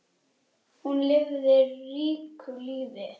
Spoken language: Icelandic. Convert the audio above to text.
Hún lifði ríku lífi.